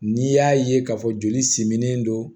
N'i y'a ye k'a fɔ joli siminen don